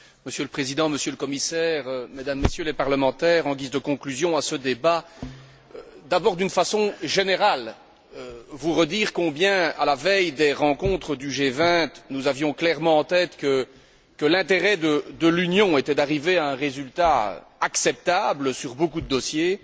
Monsieur le Président, Monsieur le Commissaire, Mesdames et Messieurs les députés, en guise de conclusion à ce débat, d'abord d'une façon générale, je souhaiterais vous redire combien, à la veille des rencontres du G20, nous avions clairement en tête que l'intérêt de l'Union était d'arriver à un résultat acceptable sur beaucoup de dossiers